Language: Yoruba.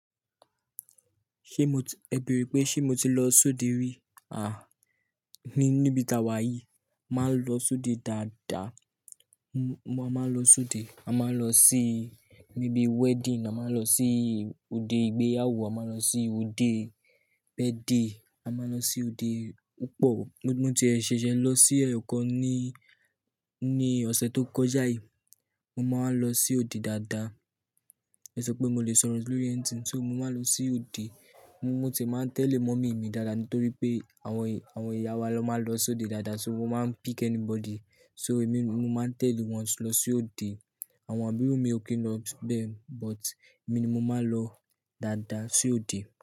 Ṣé mo ti, ẹ bẹ̀rù pé ṣé mo ti lọ sóde rí? À, ní, níbi tawa yìí, máa ń lọ sóde dáadáa. Mo, mo á máa lọ sóde. A máa ń lọ sí ibi wedding, a máa ń lọ sí òde ìgbéyàwó, a máa ń lọ sí òde birthday, a máa ń lọ sí òde púpọ̀. Mótí ẹ ṣẹ̀ṣẹ̀ lọ sí ẹ̀kọ́ ní, ní ọ̀sẹ̀ tó kọjá yìí, mo máa ń lọ sí òde dáadáa. Ẹ sọ pé mo lè sọ̀rọ̀ lórí anything, so mo máa ń lọ sí òde. Mo ti máa ń tẹ̀lé mọ́mì mi dáadáa nítorí pé àwọn, àwọn ìyá wa ló máa ń lọ sóde dáadáa, so mo máa ń pick anybody. So èmi mo máa ń tẹ̀lé wọ́n lọ sí òde. Àwọn àbúrò mi ò kí ń lọ bẹ́ẹ̀, but èmi ni mo máa ń lọ dáadáa sí òde.